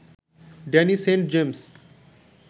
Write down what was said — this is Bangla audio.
Danny Saint James